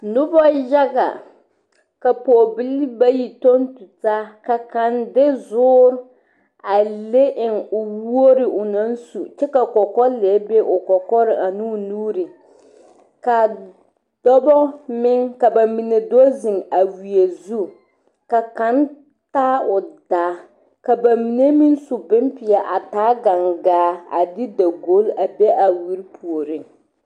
Noba yaga ka pɔge lee bayi tɔŋ tutaa ka kaŋa de zuure a le eŋ o wogre o naŋ su kyɛ ka kɔkɔlɛɛre be o kɔkɔre ane o nuure kaa dɔɔbo meŋ ka bamine do zeŋ wiiɛ zu ka kaŋ taa o daa ka bamine meŋ su bonpeɛ a taa o gangaa a de dagogle a be a wiire puori.